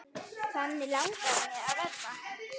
Þannig langaði mig að verða.